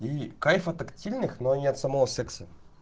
кайф от активных но не от самого секса